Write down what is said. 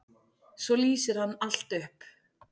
Svo lýsir hann allt upp.